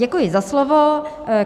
Děkuji za slovo.